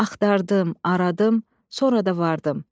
Axtardım, aradım, sonra da vardım.